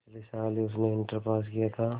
पिछले साल ही उसने इंटर पास किया था